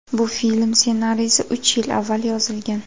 Bu film ssenariysi uch yil avval yozilgan.